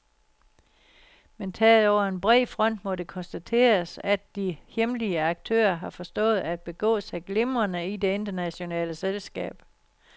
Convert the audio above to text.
Men taget over en bred front må det konstateres, at de hjemlige aktører har forstået at begå sig glimrende i det internationale selskab.